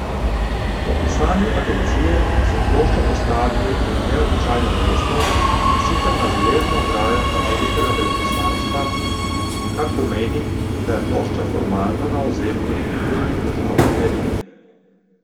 Po pisanju agencije so ploščo postavili na neobičajno mesto, in sicer na železno ograjo ameriškega veleposlaništva, kar pomeni, da je plošča formalno na ozemlju Združenih držav Amerike.